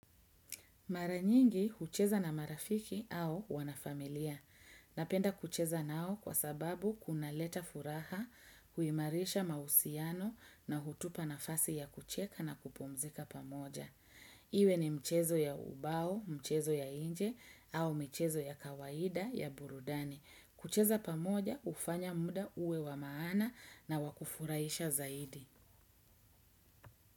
Maranyingi kucheza na marafiki au wanafamilia. Napenda kucheza nao kwa sababu kuna leta furaha, huimarisha mausiano na hutupa nafasi ya kucheka na kupumzika pamoja. Iwe ni mchezo ya ubao, mchezo ya inje au mchezo ya kawaida ya burudani. Kucheza pamoja ufanya muda uwe wa maana na wakufuraisha zaidi.